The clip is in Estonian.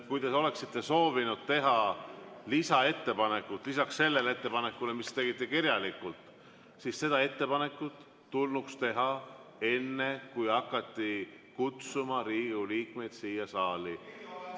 Kui te oleksite soovinud teha lisaettepanekut lisaks sellele ettepanekule, mille te tegite kirjalikult, siis see ettepanek tulnuks teha enne, kui hakati kutsuma Riigikogu liikmeid siia saali.